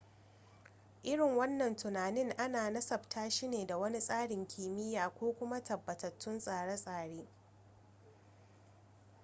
irin wannan tunanin ana nasabta shi ne da wani tsarin kimiyya ko kuma tabbatattun tsare-tsare